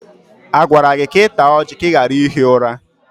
A gwara gị ka ị taa ọjị ka ị ghara ihi ụra?